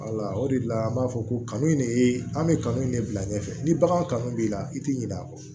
Wala o de la an b'a fɔ ko kanu in de ye an bɛ kanu de bila ɲɛfɛ ni baganw kanu b'i la i ti ɲina a kɔ